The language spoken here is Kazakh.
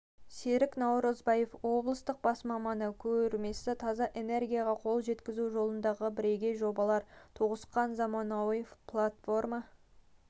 серік наурызбаев облыстық бас маманы көрмесі таза энергияға қол жеткізу жолындағы бірегей жобалар тоғысқан заманауи платформа